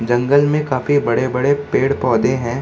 जंगल में काफी बड़े-बड़े पेड़-पौधे हैं।